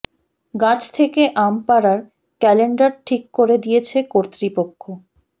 গাছ থেকে আম পাড়ার ক্যালেন্ডার ঠিক করে দিয়েছে কর্তৃপক্ষ